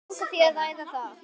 Langar þér að ræða það?